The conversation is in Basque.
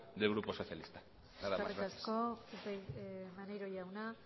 del grupo socialista nada más eskerrik asko maneiro jauna